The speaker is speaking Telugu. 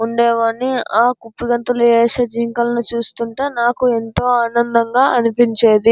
ఉండేవాణ్ణి. ఆ కుప్పిగంతులు వేసే జింకలు చూస్తుంటే నాకు ఎంతో ఆనందంగా అనిపించింది.